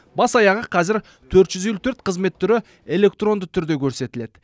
бас аяғы қазір төрт жүз елу төрт қызмет түрі электронды түрде көрсетіледі